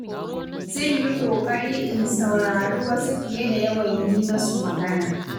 Zan yi ƙoƙari in saurari wasu fiye da yawan yi masu magana.